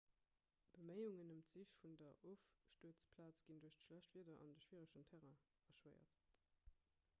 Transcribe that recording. beméiungen ëm d'sich vun der ofstuerzplaz ginn duerch schlecht wieder an de schwieregen terrain erschwéiert